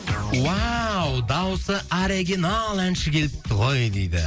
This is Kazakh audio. дауысы оригинал әнші келіпті ғой дейді